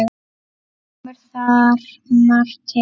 Kemur þar margt til.